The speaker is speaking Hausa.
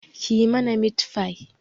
Kiyi mana mitfai